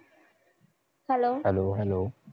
hello